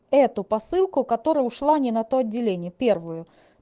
эту посылку которая ушла не на то отделение первую